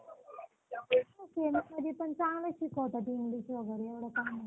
semiमध्ये पण चांगलं शिकवतात english वगैरे एव्हडं काही नाही